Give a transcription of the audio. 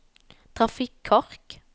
trafikkork